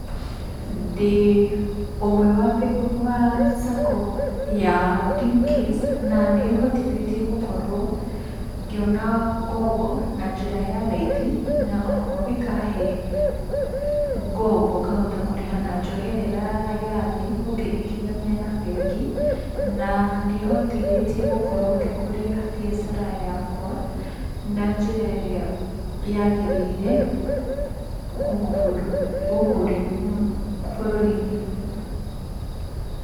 Ndĩ ũmwe wa SACCOya Dimcase, na nĩ ĩhotithĩtie gũkorwo ngĩona ngombo na njĩra ya raithi, na oho ĩkahe ngombo ngahota kũrĩha na njoherera ya thĩ ũkĩringithania na bengi, na nĩ ĩhothĩtie gũkorwo ngĩkũria biacara yakwa na njĩra ĩrĩa yagĩrĩire gũkũ bũrũri-inĩ.